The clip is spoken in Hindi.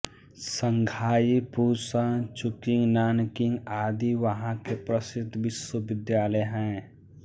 शंघाई पूशन चुंकिंग नानकिंग आदि वहाँ के प्रसिद्ध विश्वविद्यालय हैं